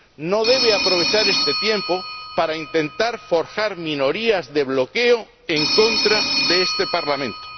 No deben aprovechar este tiempo para intentar forjar minorías de bloqueo en contra de este Parlamento.